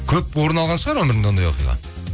көп орын алған шығар ондай оқиға